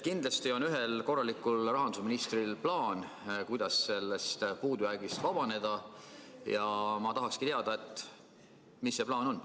Kindlasti on ühel korralikul rahandusministril plaan, kuidas sellest puudujäägist vabaneda, ja ma tahakski teada, mis see plaan on.